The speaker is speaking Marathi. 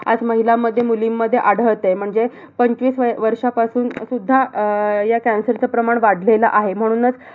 आज महिलांमध्ये, मुलींमध्ये आढळतेय. म्हणजे पंचवीस वर्षापासून सुद्धा अह ह्या cancer च प्रमाण वाढलेलं आहे. म्हणूनच